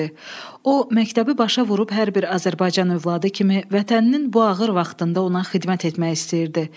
O məktəbi başa vurub hər bir Azərbaycan övladı kimi vətəninin bu ağır vaxtında ona xidmət etmək istəyirdi.